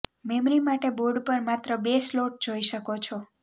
memory માટે board પર માત્ર બે સ્લોટ જોઈ શકો છો